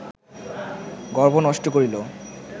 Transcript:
গর্ভ নষ্ট করিল